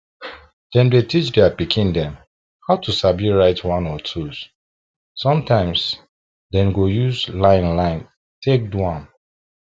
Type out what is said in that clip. dem dey teach their pikin dem how to sabi write one or twos sometimes dem go use line line take do am